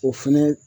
O fɛnɛ